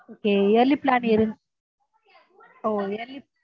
okay yearly plan ah yearly